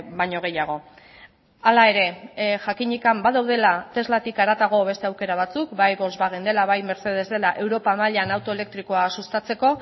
baino gehiago hala ere jakinik badaudela teslatik haratago beste aukera batzuk bai volkswagen dela bai mercedes dela europa mailan auto elektrikoa sustatzeko